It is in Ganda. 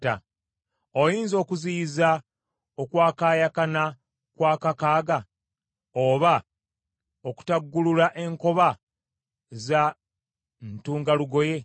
“Oyinza okuziyiza okwakaayakana kwa Kakaaga, oba okutaggulula enkoba za Ntungalugoye?